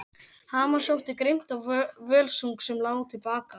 Hamar sótti grimmt á völsung sem lá til baka.